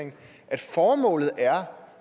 herre